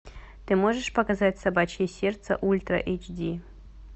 ты можешь показать собачье сердце ультра эйч ди